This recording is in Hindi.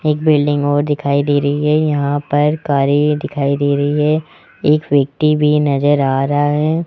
एक बिल्डिंग और दिखाई दे रही है यहां पर कारें दिखाई दे रही है एक व्यक्ति भी नजर आ रहा है।